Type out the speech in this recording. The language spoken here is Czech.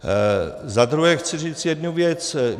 Za druhé chci říct jednu věc.